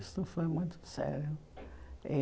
Isso foi muito sério.